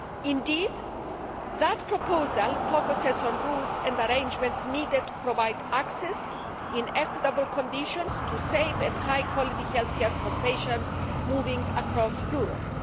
Indeed, that proposal focuses on the rules and arrangements needed to provide access, in equitable conditions, to safe and high quality healthcare for patients moving across Europe.